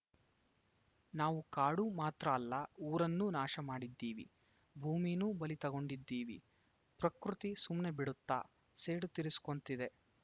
ನಾವು ಕಾಡು ಮಾತ್ರ ಅಲ್ಲ ಊರನ್ನೂ ನಾಶ ಮಾಡಿದ್ದೀವಿ ಭೂಮೀನೂ ಬಲಿ ತಗಂಡಿದ್ದೀವಿ ಪ್ರಕೃತಿ ಸುಮ್ನೆ ಬಿಡತ್ತಾ ಸೇಡು ತೀರಿಸೊಕೊಂತ್ತಿದೆ